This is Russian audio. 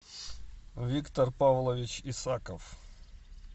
виктор павлович исаков